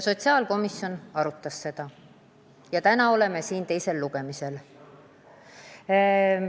Sotsiaalkomisjon arutas seda ja täna oleme jõudnud teise lugemiseni.